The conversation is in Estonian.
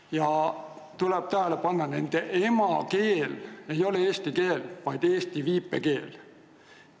Ja tuleb tähele panna, et nende emakeel ei ole eesti keel, vaid eesti viipekeel.